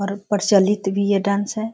और प्रचलित भी ये डांस है।